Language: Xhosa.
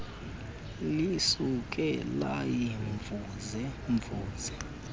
lisuke layimvuze mvuze